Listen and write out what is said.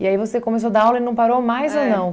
E aí você começou dar aula e não parou mais ou não?